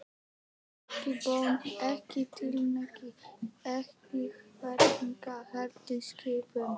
Ekki bón, ekki tilmæli, ekki ráðlegging, heldur skipun.